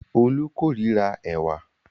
Olú kórira ẹ̀wà.